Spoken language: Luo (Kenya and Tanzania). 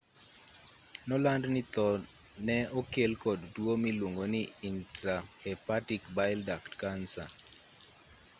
noland ni tho nee nokel kod tuo miluongo ni intrahepatic bile duct cancer